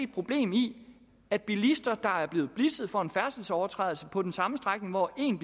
problem i at bilister er blevet blitzet for en færdselsovertrædelse på den samme strækning hvor en